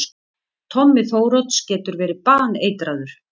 Tommi Þórodds getur verið baneitraður!